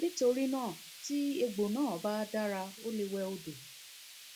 nítorí náà tí egbò náà bá dára o lè wẹ odò